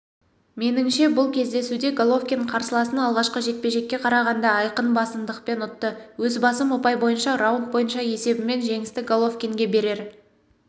меніңше бұл кездесуде головкин қарсыласын алғашқы жекпе-жекке қарағанда айқын басымдықпен ұтты өз басым ұпай бойынша раунд бойынша есебімен жеңісті головинге берер